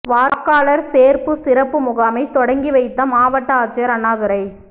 வாக்காளர் சேர்ப்பு சிறப்பு முகாமை தொடங்கிவைத்த மாவட்ட ஆட்சியர் அண்ணாதுரை